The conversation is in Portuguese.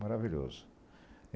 Maravilhoso.